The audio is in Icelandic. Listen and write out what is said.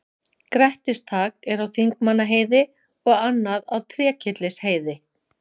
Grettistak er á Þingmannaheiði og annað á Trékyllisheiði.